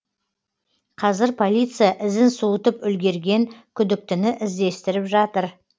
қазір полиция ізін суытып үлгерген күдіктіні іздестіріп жатыр